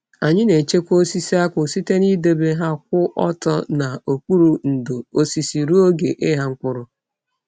Anyị na-echekwa osisi akpu site n'idebe ha kwụ ọtọ n'okpuru ndò osisi ruo oge ịgha mkpụrụ.